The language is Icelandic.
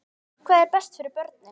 Hvað er best fyrir börnin?